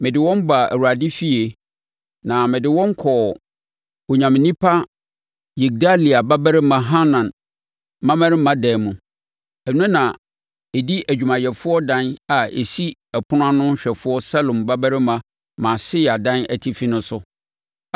Mede wɔn baa Awurade efie, na mede wɔn kɔɔ Onyame onipa Yigdalia babarima Hanan mmammarima dan mu. Ɛno na ɛdi adwumayɛfoɔ dan a ɛsi ɔpono ano hwɛfoɔ Salum babarima Maaseia dan atifi no so.